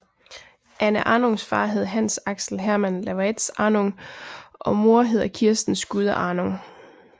Anne Arhnungs far hed Hans Axel Herman Lawaetz Arhnung og mor hedder Kirsten Skude Arhnung